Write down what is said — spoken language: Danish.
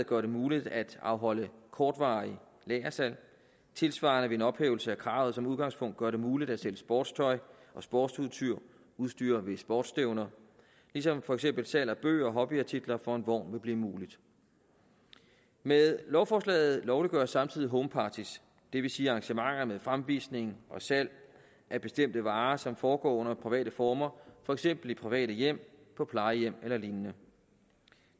gøre det muligt at afholde kortvarige lagersalg og tilsvarende vil en ophævelse af kravet som udgangspunkt gøre det muligt at sælge sportstøj og sportsudstyr ved sportsstævner ligesom for eksempel salg af bøger og hobbyartikler fra en vogn vil blive muligt med lovforslaget lovliggøres samtidig homeparties det vil sige arrangementer med fremvisning og salg af bestemte varer som foregår under private former for eksempel i private hjem på plejehjem eller lignende